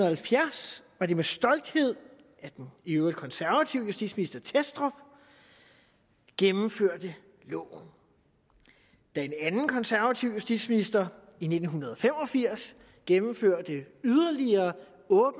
halvfjerds var det med stolthed at den i øvrigt konservative justitsminister thestrup gennemførte loven da en anden konservativ justitsminister i nitten fem og firs gennemførte yderligere